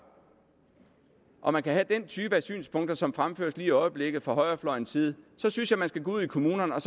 og man kan have den type af synspunkter som fremføres i øjeblikket fra højrefløjens side så synes jeg man skal gå ud i kommunerne og